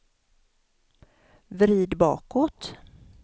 vrid bakåt